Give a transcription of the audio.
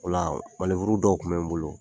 Ola dɔw kun bɛ n bolo